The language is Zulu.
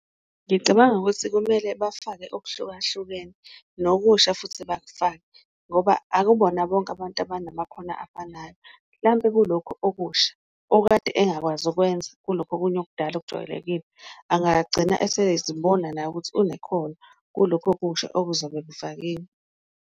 Ngicabanga ukuthi kumele bafake okuhlukahlukene nokusha futhi bakufake ngoba akubona bonke abantu abanamakhono afanayo, mhlampe kulokhu okusha okade engakwazi ukukwenza kulokhu okunye okudala okujwayelekile, angagcina usezibona naye ukuthi unekhono kulokhu okusha okuzobe kufakiwe.